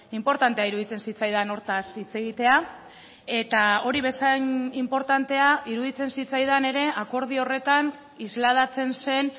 inportantea iruditzen zitzaidan hortaz hitz egitea eta hori bezain inportantea iruditzen zitzaidan ere akordio horretan islatzen zen